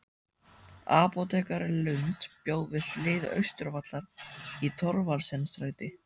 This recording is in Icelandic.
Apótekari Lund bjó við hlið Austurvallar í Thorvaldsensstræti